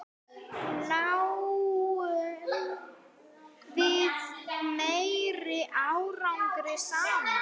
Náum við meiri árangri saman?